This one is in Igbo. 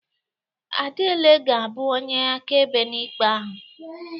Adiele ga-abụ onye akaebe n'ikpe ahụ.